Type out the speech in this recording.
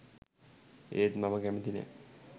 ඒත් මම කැමති නෑ